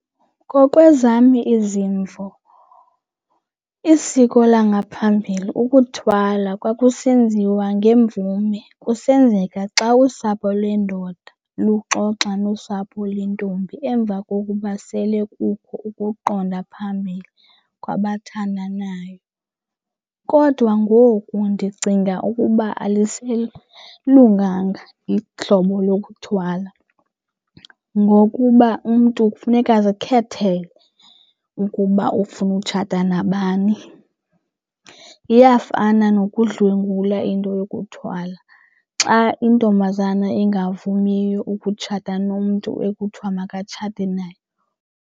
Ngokwezam izimvo isiko langaphambili, ukuthwala, kwakusenziwa ngemvume kusenzeka xa usapho lwendoda luxoxa nosapho lentombi emva kokuba sele kukho ukuqonda phambili kwabathandanayo. Kodwa ngoku ndicinga ukuba aliselunganga ihlobo lokuthwala ngokuba umntu kufuneka azikhethele ukuba ufuna utshata nabani. Iyafana nokudlwengula into yokuthwala xa intombazana ingavumiyo ukutshata nomntu ekuthiwa makatshate naye.